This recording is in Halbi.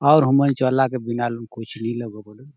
आउर उन मन्चो अल्लाह के बिनालू कुछ नहि लगुन बलून --